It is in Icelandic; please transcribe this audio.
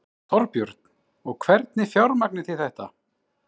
Þorbjörn: Og hvernig fjármagnið þið þetta?